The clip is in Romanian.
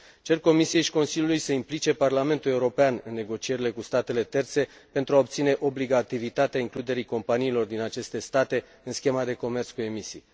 Cer Comisiei și Consiliului să implice Parlamentul European în negocierile cu statele terțe pentru a obține obligativitatea includerii companiilor din aceste state în schema de comerț cu emisii.